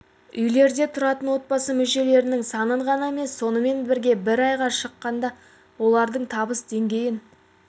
үйлерде тұратын отбасы мүшелерінің санын ғана емес сонымен бірге бір адамға шаққандағы олардың табыс деңгейін